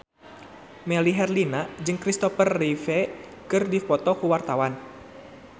Melly Herlina jeung Christopher Reeve keur dipoto ku wartawan